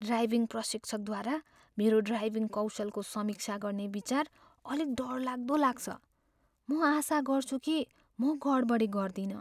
Driving प्रशिक्षकद्वारा मेरो driving कौशलको समीक्षा गर्ने विचार अलिक डरलाग्दो लाग्छ। म आशा गर्छु कि म गडबडी गर्दिनँ।